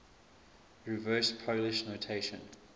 reverse polish notation